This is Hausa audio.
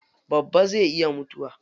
Babba zai iya mutuwa.